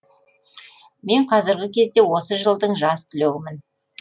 мен қазіргі кезде осы жылдың жас түлегімін